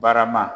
Barama